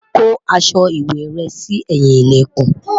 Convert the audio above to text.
kò aṣọ ìwé rè sí ẹyin ilẹkùn